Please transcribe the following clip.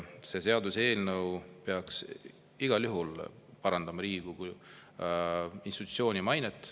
See seaduseelnõu peaks igal juhul parandama Riigikogu kui institutsiooni mainet.